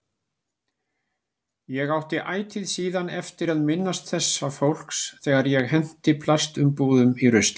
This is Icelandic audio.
Ég átti ætíð síðan eftir að minnast þessa fólks þegar ég henti plastumbúðum í ruslið.